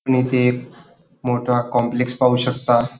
आपण इथे मोठा कॉम्प्लेक्स पाहू शकता.